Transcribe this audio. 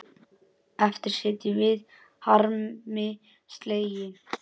Eftir sitjum við harmi slegin.